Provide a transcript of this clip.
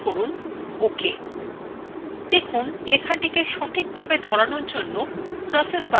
দেখুন লেখাটিকে সঠিকভাবে ধরানোর জন্য process বাক্সটির আকার পরিবর্তন হয়ে গেছে !